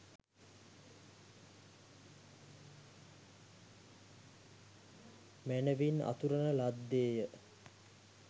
මැනැවින් අතුරන ලද්දේ ය.